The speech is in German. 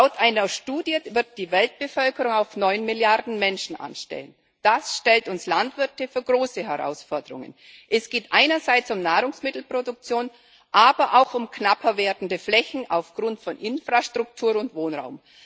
Laut einer Studie wird die Weltbevölkerung auf neun Milliarden Menschen ansteigen. Das stellt uns Landwirte vor große Herausforderungen. Es geht einerseits um Nahrungsmittelproduktion, aber auch um knapper werdende Flächen aufgrund von Infrastruktur und Wohnraum.